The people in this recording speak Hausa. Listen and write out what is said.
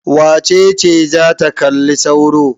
Wace ce za ta kalli sauro?